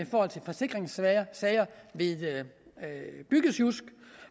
forsikringssager ved byggesjusk